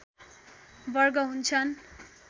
वर्ग हुन्छन्